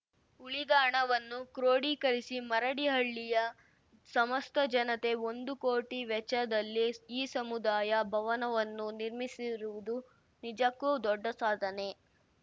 ಉಳಿದ ಹಣವನ್ನು ಕ್ರೋಡೀಕರಿಸಿ ಮರಡಿಹಳ್ಳಿಯ ಸಮಸ್ತ ಜನತೆ ಒಂದು ಕೋಟಿ ವೆಚ್ಚದಲ್ಲಿ ಈ ಸಮುದಾಯ ಭವನವನ್ನು ನಿರ್ಮಿಸಿರುವುದು ನಿಜಕ್ಕೂ ದೊಡ್ಡ ಸಾಧನೆ